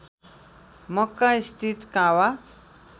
मक्का स्थित काबा